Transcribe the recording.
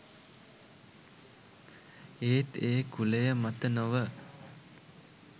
ඒත් ඒ කුලය මත නොව